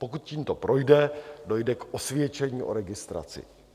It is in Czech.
Pokud tímto projde, dojde k osvědčení o registraci.